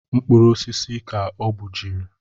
Mkpụrụ osisi ka o gbujiri